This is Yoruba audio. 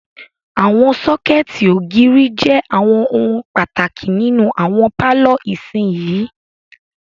Àwọn sọ́kẹ̀tì ògiri jẹ àwọn ohun pàtàkì nínú àwọn pálọ̀ ìsinyìí.